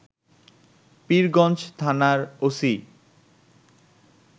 পীরগঞ্জ থানার ওসি